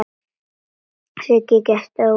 Siggi gekk ógnandi að Svenna.